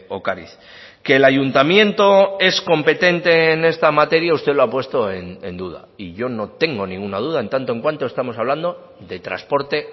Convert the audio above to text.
ocariz que el ayuntamiento es competente en esta materia usted lo ha puesto en duda y yo no tengo ninguna duda en tanto en cuanto estamos hablando de transporte